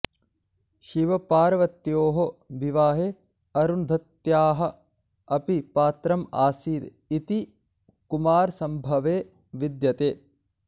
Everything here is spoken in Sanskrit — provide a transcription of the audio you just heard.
शिवपार्वत्योः विवाहे अरुन्धत्याः अपि पात्रम् आसीत् इति कुमारसम्भवे विद्यते